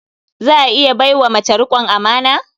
Za a iya bai wa mace riƙon amana?